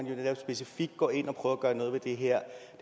jo netop specifikt går ind og prøver at gøre noget ved